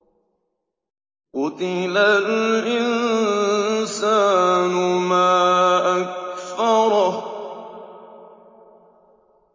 قُتِلَ الْإِنسَانُ مَا أَكْفَرَهُ